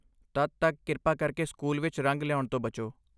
ਤਦ ਤੱਕ, ਕਿਰਪਾ ਕਰਕੇ ਸਕੂਲ ਵਿੱਚ ਰੰਗ ਲਿਆਉਣ ਤੋਂ ਬਚੋ।